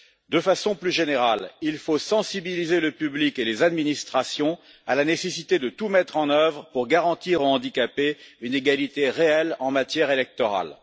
De façon plus générale, il faut sensibiliser le public et les administrations à la nécessité de tout mettre en œuvre pour garantir aux handicapés une égalité réelle en matière électorale.